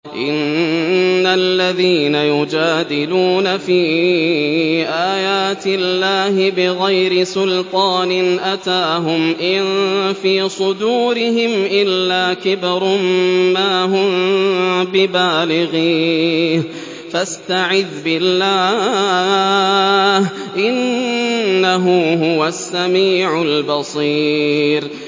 إِنَّ الَّذِينَ يُجَادِلُونَ فِي آيَاتِ اللَّهِ بِغَيْرِ سُلْطَانٍ أَتَاهُمْ ۙ إِن فِي صُدُورِهِمْ إِلَّا كِبْرٌ مَّا هُم بِبَالِغِيهِ ۚ فَاسْتَعِذْ بِاللَّهِ ۖ إِنَّهُ هُوَ السَّمِيعُ الْبَصِيرُ